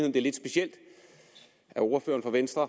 er lidt specielt at ordføreren for venstre